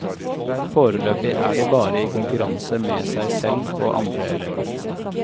Foreløpig er de bare i konkurranse med seg selv og andre elever.